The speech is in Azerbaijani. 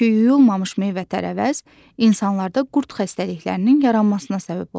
Çünki yuyulmamış meyvə-tərəvəz insanlarda qurd xəstəliklərinin yaranmasına səbəb olur.